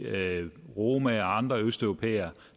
romaer og andre østeuropæere